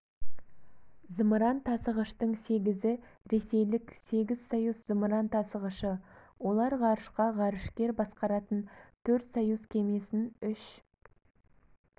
зымыран тасығыштың сегізі ресейлік сегіз союз зымыран тасығышы олар ғарышқа ғарышкер басқаратын төрт союз кемесін үш